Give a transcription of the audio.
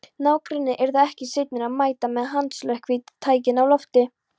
Nágrannarnir yrðu ekki seinir að mæta með handslökkvitækin á lofti.